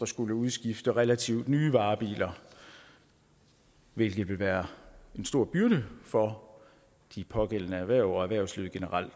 skulle udskifte relativt nye varebiler hvilket vil være en stor byrde for de pågældende erhverv og erhvervslivet generelt